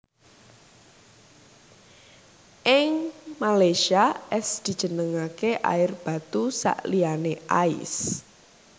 Ing Malaysia es dijenengake air batu sakliyané ais